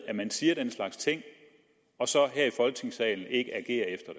at man siger den slags ting og så her i folketingssalen ikke agerer efter